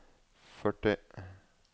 førti